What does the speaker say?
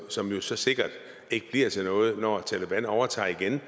som jo så sikkert ikke bliver til noget når taleban overtager igen